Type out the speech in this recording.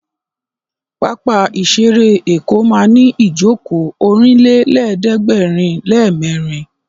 Pápá ìṣeré Èkó ma ní ìjókòó Ọ̀rìnlélẹ̀ẹ́dẹ́gbèrinlémẹ́rin